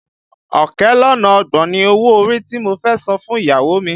Ọ̀kẹ́ lọ́nà ọgbọ̀n ni owó orí tí mo fẹ́ san fún ìyàwó mi